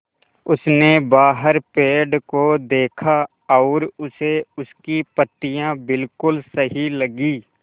उसने बाहर पेड़ को देखा और उसे उसकी पत्तियाँ बिलकुल सही लगीं